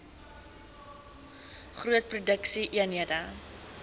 groot produksie eenhede